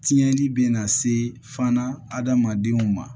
Tiɲɛni bɛ na se fana adamadenw ma